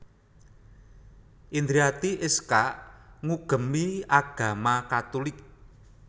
Indriati Iskak ngugemi agama Katolik